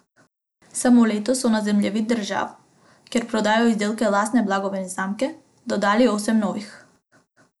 Samo letos so na zemljevid držav, kjer prodajajo izdelke lastne blagovne znamke, dodali osem novih.